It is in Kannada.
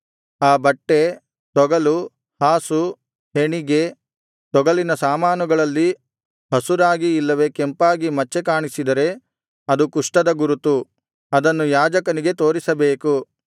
ಆ ಬಟ್ಟೆ ತೊಗಲು ಹಾಸು ಹೆಣಿಗೆ ತೊಗಲಿನ ಸಾಮಾನುಗಳಲ್ಲಿ ಹಸುರಾಗಿ ಇಲ್ಲವೆ ಕೆಂಪಾಗಿ ಮಚ್ಚೆಕಾಣಿಸಿದರೆ ಅದು ಕುಷ್ಠದ ಗುರುತು ಅದನ್ನು ಯಾಜಕನಿಗೆ ತೋರಿಸಬೇಕು